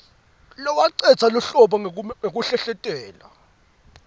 lowacedza lubombo ngekuhlehletela